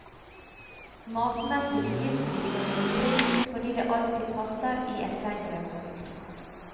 Matmessig begynte vi med noe friskt fordi det alltid passer i et lengre måltid.